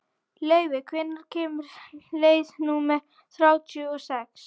Laufey, hvenær kemur leið númer þrjátíu og sex?